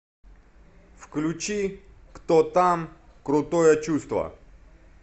включи кто там крутое чувство